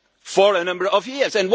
of for a number of years.